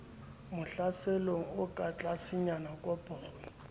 mokgahlelong o ka tlasenyana koporo